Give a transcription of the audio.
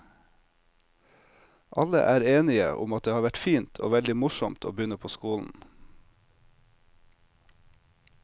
Alle er enige om at det har vært fint og veldig morsomt å begynne på skolen.